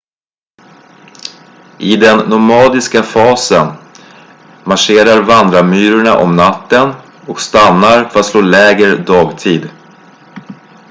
i den nomadiska fasen marscherar vandrarmyrorna om natten och stannar för att slå läger dagtid